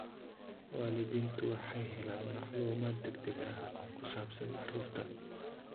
Waalidiintu waxay helaan macluumaad degdeg ah oo ku saabsan carruurta.